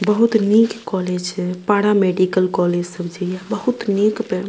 बहुत नीक कॉलेज छै पारा मेडिकल कॉलेज सब जे ये बहुत नीक पे --